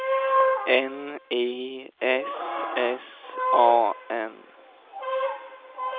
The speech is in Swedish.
N I S S A N